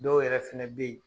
Dɔw yɛrɛ fɛnɛ be ye